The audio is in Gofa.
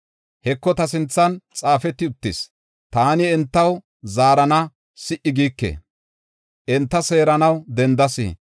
“Heko, ta sinthan xaafeti uttis; taani entaw zaarana si77i giike; enta seeranaw dendas.